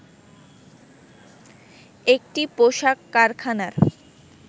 একটি পোশাক কারখানার